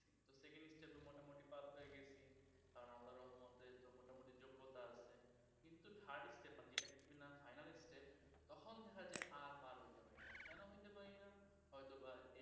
এখন দেখা যায় আর পার হইতে পারি না কেন হইতে পারি না হয়তো বা